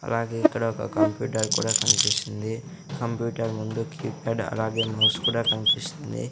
అలాగే ఇక్కడ ఒక కంప్యూటర్ కూడా కన్పిస్తుంది కంప్యూటర్ ముందు కీప్యాడ్ అలాగే మౌస్ కూడా కన్పిస్తుంది.